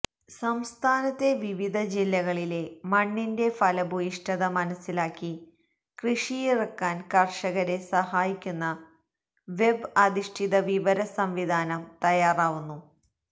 സംസ്ഥാനത്തെ വിവിധ ജില്ലകളിലെ മണ്ണിൻ്റെ ഫലഭൂയിഷ്ടത മനസിലാക്കി കൃഷിയിറക്കാന് കര്ഷകരെ സഹായിക്കുന്ന വെബ് അധിഷ്ഠിത വിവര സംവിധാനം തയ്യാറാവുന്നു